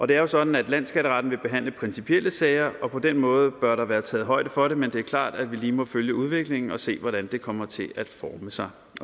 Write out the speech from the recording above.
det er sådan at landsskatteretten vil behandle principielle sager og på den måde bør der være taget højde for det men det er klart at vi lige må følge udviklingen og se hvordan det kommer til at forme sig